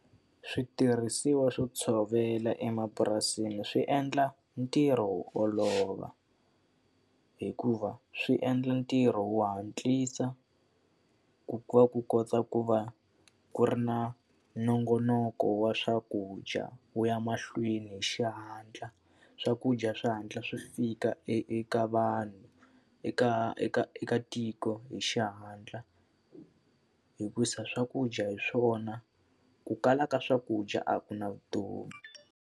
Switirhisiwa swo tshovela emapurasini swi endla ntirho wo olova hikuva swi endla ntirho wo hatlisa, ku va ku kota ku va ku ri na nongonoko wa swakudya wu ya mahlweni hi xihatla. Swakudya swi hatla swi fika eka vanhu eka eka eka tiko hi xihatla, hikuva swakudya hi swona ku kala ka swakudya a ku na vutomi.